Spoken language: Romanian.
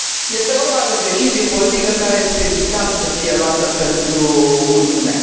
Este vorba de o decizie politică care este vital să fie luată pentru Uniune.